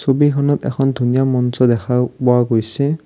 ছবিখনত এখন ধুনীয়া মঞ্চ দেখা পোৱা গৈছে।